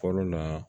Kɔrɔ na